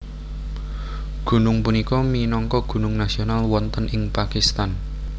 Gunung punika minangka gunung nasional wonten ing Pakistan